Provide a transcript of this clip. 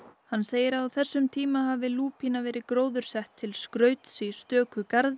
hann segir að á þessum tíma hafi lúpína verið gróðursett til skrauts í stöku garði